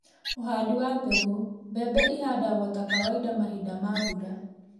ũhandi wa mbegũ: Mbembe ihandagwo ta kawaida mahinda ma mbura